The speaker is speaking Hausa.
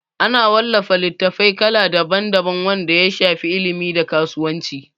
Ana wallafa littatafai kala daban daban wanda ya shafi ilimi da kasuwanci